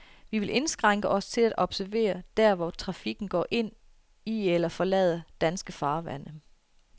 Vi vil indskrænke os til at observere, der hvor trafikken går ind i eller forlader danske farvande.